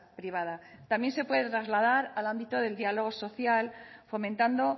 privada también se puede trasladar al ámbito del diálogo social fomentando